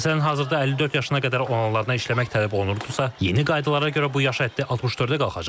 Məsələn, hazırda 54 yaşına qədər olanlardan işləmək tələb olunurdusa, yeni qaydalara görə bu yaş həddi 64-ə qalxacaq.